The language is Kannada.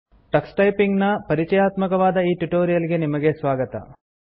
ಟಕ್ಸ್ ಟೈಪಿಂಗ್ ನ ಪರಿಚಯಾತ್ಮಕವಾದ ಈ ಟ್ಯುಟೋರಿಯಲ್ ಗೆ ನಿಮಗೆ ಸ್ವಾಗತ